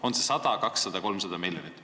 On see 100, 200, 300 miljonit?